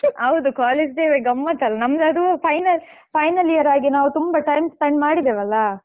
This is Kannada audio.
ಹೌದು college day ವೆ ಗಮ್ಮತ್ತ್ ಅಲಾ ನಮ್ದು ಅದೂ final final year ಆಗಿ ತುಂಬಾ time spend ಮಾಡಿದೆವಲ್ಲಾ.